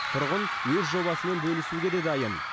тұрғын өз жобасымен бөлісуге де дайын